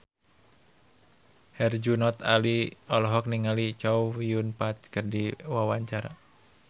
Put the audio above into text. Herjunot Ali olohok ningali Chow Yun Fat keur diwawancara